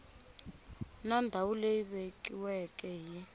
na ndhawu leyi vekiweke hi